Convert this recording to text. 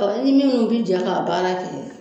i ni minnu bɛ jɛn k'a baara kɛ